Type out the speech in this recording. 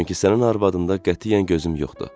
Çünki sənin arvadında qətiyyən gözüm yoxdu.